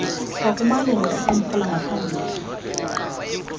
wakumalungu equmrhu langaphambili